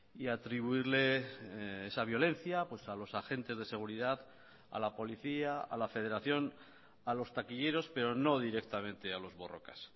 y atribuirle esa violencia a los agentes de seguridad a la policía a la federación a los taquilleros pero no directamente a los borrokas